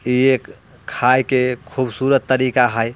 यह खाय के खूबसूरत तरीका हय।